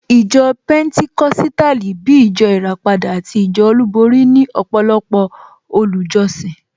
Ìjọ Pẹnticọ́sítàlì, bíi ìjọ ìràpadà àti ìjọ olúborí ní ọ̀pọ̀lọpọ̀ olùjọ́sìn